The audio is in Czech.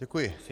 Děkuji.